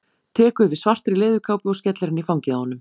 Tekur við svartri leðurkápu og skellir henni í fangið á honum.